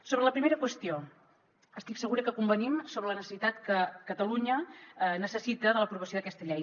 sobre la primera qüestió estic segura que convenim sobre la necessitat que catalunya necessita l’aprovació d’aquesta llei